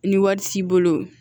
Ni wari t'i bolo